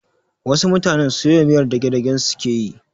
Wasu mutane soya miyar dagdagen su suke yi